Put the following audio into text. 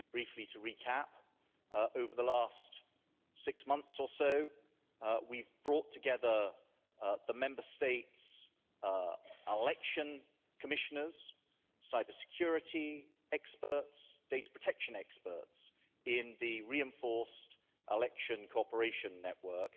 Briefly, to recap, over the last six months or so we've brought together the Member States election commissioners, cybersecurity experts, data protection experts in the reinforced election cooperation network,